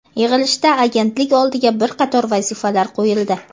Yig‘ilishda Agentlik oldiga bir qator vazifalar qo‘yildi.